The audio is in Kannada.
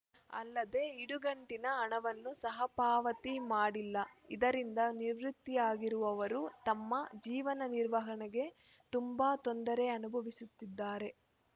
ಅಲ್ಲದೇ ಇಡುಗಂಟಿನ ಹಣವನ್ನು ಸಹ ಪಾವತಿ ಮಾಡಿಲ್ಲ ಇದರಿಂದ ನಿವೃತ್ತಿಯಾಗಿರುವವರು ತಮ್ಮ ಜೀವನ ನಿರ್ವಹಣೆಗೆ ತುಂಬಾ ತೊಂದರೆ ಅನುಭವಿಸುತ್ತಿದ್ದಾರೆ